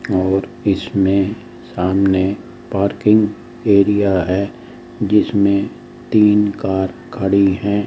और इसमें सामने पार्किंग एरिया है जिसमें तीन कार खड़ी है।